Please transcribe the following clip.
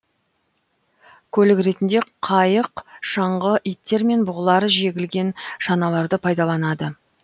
көлік ретінде қайық шаңғы иттер мен бұғылар жегілген шаналарды пайдаланады